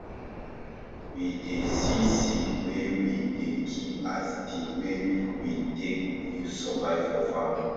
we dey see seed wey we dey keep as di way we take use survive for farm